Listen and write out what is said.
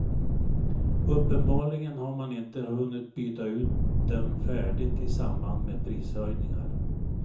Uppenbarligen har man inte hunnit byta ut dem färdigt i samband med prishöjningar.